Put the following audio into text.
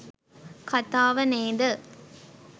කතාව නේද?